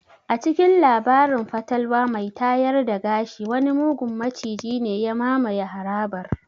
A cikin labarin fatalwa mai tayar da gashi wani mugun maciji ne ya mamaye harabar.